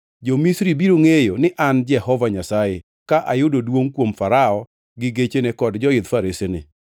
Jo-Misri biro ngʼeyo ni an Jehova Nyasaye ka ayudo duongʼ kuom Farao gi gechene kod joidh faresene.”